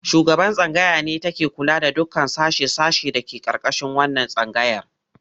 Shugaban tsangaya ne take kula da dukkan sashe-sashe da ke ƙarƙashin wannan tsangayar.